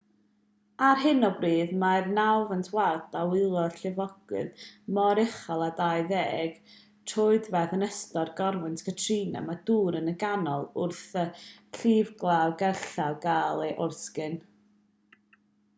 ar hyn o bryd mae'r nawfed ward a welodd lifogydd mor uchel â 20 troedfedd yn ystod corwynt katrina mewn dŵr at y canol wrth i'r llifglawdd gerllaw gael ei oresgyn